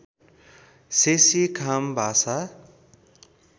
शेशी खाम भाषा